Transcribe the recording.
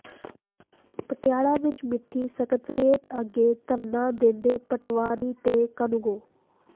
ਪਟਿਆਲਾ ਵਿੱਚ ਮਿੰਨੀ ਸਕੱਤਰੇਤ ਅੱਗੇ ਧਰਨਾ ਦਿੰਦੇ ਪਟਵਾਰੀ ਤੇ ਕਾਨੂੰਗੋ